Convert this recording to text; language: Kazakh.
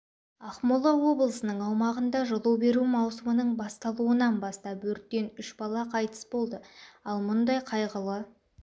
ақмола облысының аумағында жылу беру маусымының басталуынан бастап өрттен үш бала қайтыс болды ал мұндай қайғылы